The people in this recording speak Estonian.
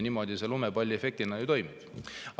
Niimoodi see lumepalliefektina toimibki.